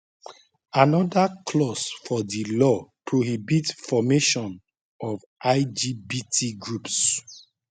anoda clause for di law prohibit formation of lgbt groups